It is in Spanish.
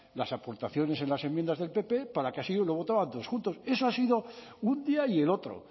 las aportaciones en las enmiendas del pp para que así lo votaran todos juntos eso ha sido un día y el otro